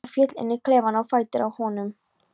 Birta féll inn í klefann á fætur honum.